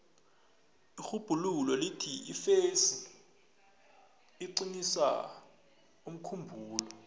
irhubhululo lithi ifesi iqinisa umkhumbulo